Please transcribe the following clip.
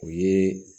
O ye